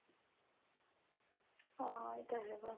ਹਾਂ ਏ ਤਾਂ ਹੈਗਾ.